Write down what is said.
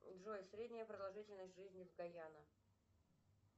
джой средняя продолжительность жизни в гайана